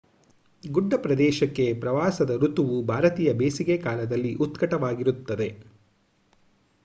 ಗುಡ್ಡ ಪ್ರದೇಶಕ್ಕೆ ಪ್ರವಾಸದ ಋತುವು ಭಾರತೀಯ ಬೇಸಿಗೆಕಾಲದಲ್ಲಿ ಉತ್ಕಟವಾಗಿರುತ್ತದೆ